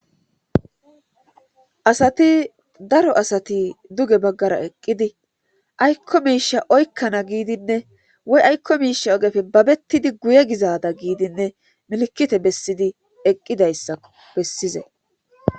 asati daro asati duge baggara eqqidi aykko miisha oykkana giidinne woy aykko miisha ogefe babettidi guye gizada giidinne milkite bessidi eqqidayssa bessize